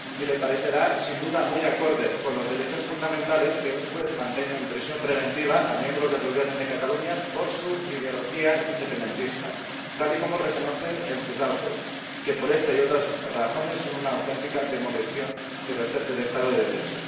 y le parecerá, sin duda, muy acorde con los derechos fundamentales que un juez mantenga en prisión preventiva a miembros del Gobierno de Cataluña por su ideología independentista, tal y como reconoce en sus autos, que por esta y otras razones son una auténtica demolición del Estado de Derecho.